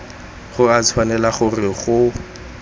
go a tshwanela gore go